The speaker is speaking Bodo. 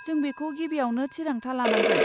जों बेखौ गिबियावनो थिरांथा लानांगोन।